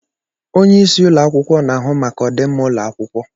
Onyeisi ụlọ akwụkwọ na-ahụ maka ọdịmma ụlọ akwụkwọ.